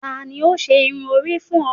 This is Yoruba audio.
tani o ṣe irun ori fun ọ?